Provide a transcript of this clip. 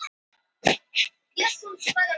Um miðjan desember?